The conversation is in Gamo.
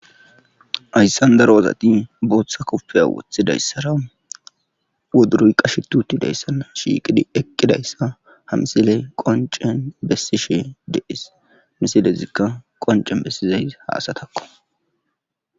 ayssan daro wozati booththa koppeya wothidayssara woduruy qashetutidayssanna shiiqidi eqqidayssa hamsile qoncen bessishe de7es misilezikka qoncen bessizay haasatakko